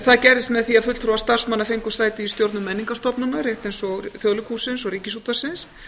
það gerðist með því að fulltrúar starfsmanna fengu sæti í stjórnum menningarstofnana rétt eins og þjóðleikhússins og ríkisútvarpsins